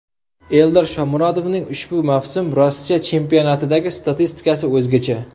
Eldor Shomurodovning ushbu mavsum Rossiya chempionatidagi statistikasi o‘zgacha.